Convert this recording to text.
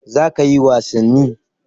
Za kayi wasanni?